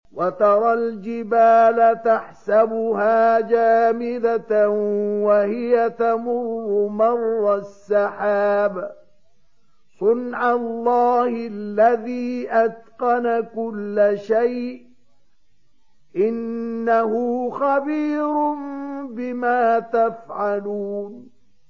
وَتَرَى الْجِبَالَ تَحْسَبُهَا جَامِدَةً وَهِيَ تَمُرُّ مَرَّ السَّحَابِ ۚ صُنْعَ اللَّهِ الَّذِي أَتْقَنَ كُلَّ شَيْءٍ ۚ إِنَّهُ خَبِيرٌ بِمَا تَفْعَلُونَ